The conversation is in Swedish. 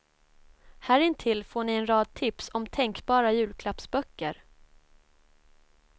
Härintill får ni en rad tips om tänkbara julklappsböcker.